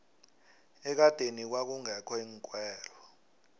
ekadeni kwakungekho iinkhwelo